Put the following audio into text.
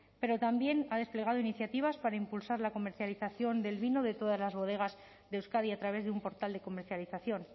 pero también ha desplegado iniciativas para impulsar la comercialización del vino de todas las bodegas de euskadi a través de un portal de comercialización